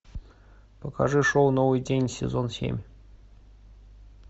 покажи шоу новый день сезон семь